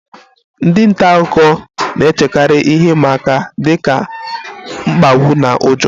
Ndị nta akụkọ na-echekarị ihe ịma aka dị ka mkpagbu na ụjọ